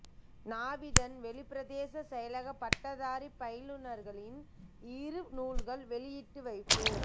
நாவிதன்வெளி பிரதேச செயலக பட்டதாரி பயிலுநர்களின் இரு நூல்கள் வெளியீட்டு வைப்பு